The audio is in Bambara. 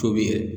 Tobi yɛrɛ